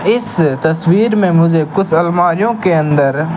इस तस्वीर में मुझे कुछ अलमारीयो के अंदर--